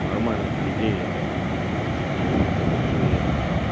нормальных людей я так не буду просить я если попрошу я ему отдам